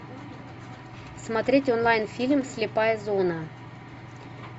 смотреть онлайн фильм слепая зона